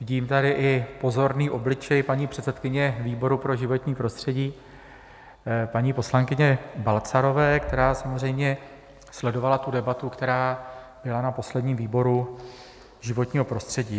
Vidím tady i pozorný obličej paní předsedkyně výboru pro životní prostředí, paní poslankyně Balcarové, která samozřejmě sledovala tu debatu, která byla na posledním výboru životního prostředí.